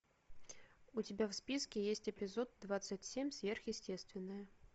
у тебя в списке есть эпизод двадцать семь сверхъестественное